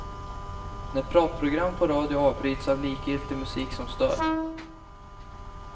När pratprogram på radio avbryts av likgiltig musik som stör.